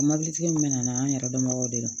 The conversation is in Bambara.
O mɔbilitigi min bɛ na n'an yɛrɛ dɔnbagaw de ye